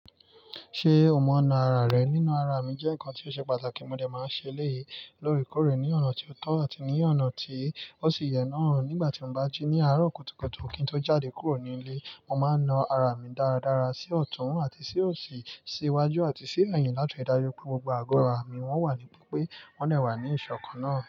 Ṣé o mọ̀ ń naa ara rẹ? Nína ara mi jẹ́ ǹkan tí ó ṣe pàtàkì, mo dẹ̀ máa ń ṣe eléyìí, lóòrèkóòrè ní ọ̀nà tí ó tọ́ àti ní ọ̀nà tí ó sì yẹ náà. Nígbà tí mo bá jí ní àárọ̀ kùtùkùtù kí n tó jáde kúrò nílé, mo máa ń na ara mi dáradára sí ọ̀tún àti sí òsì, sí iwájú àti sí ẹ̀yìn láti ríi dájú pé gbogbo àgọ́ ara mi wọ́n wà nípò pé wọ́n lè wà ní ìṣọ̀kan náà.